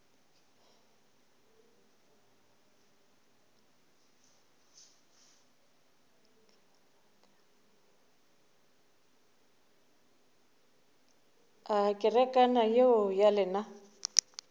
a kerekana yeo ya lena